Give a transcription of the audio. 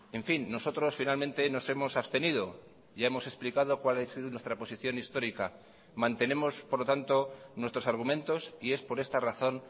en fin nosotros finalmente nos hemos abstenido ya hemos explicado cuál es nuestra posición histórica mantenemos por lo tanto nuestros argumentos y es por esta razón